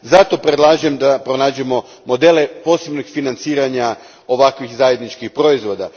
Zato, predlažem da pronađemo modele posebnih financiranja ovakvih zajedničkih proizvoda.